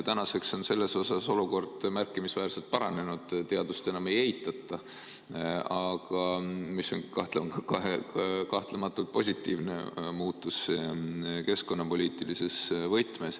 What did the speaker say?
Tänaseks on olukord selles mõttes märkimisväärselt paranenud, teadust enam ei eitata ja see on kahtlemata positiivne muutus keskkonnapoliitilises võtmes.